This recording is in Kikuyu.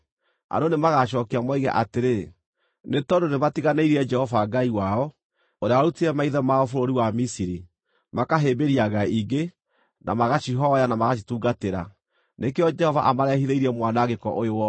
Andũ nĩmagacookia moige atĩrĩ, ‘Nĩ tondũ nĩmatiganĩirie Jehova Ngai wao, ũrĩa warutire maithe mao bũrũri wa Misiri, makahĩmbĩria ngai ingĩ, na magacihooya na magacitungatĩra; nĩkĩo Jehova amareehithĩirie mwanangĩko ũyũ wothe.’ ”